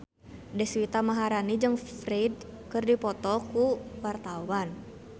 Deswita Maharani jeung Ferdge keur dipoto ku wartawan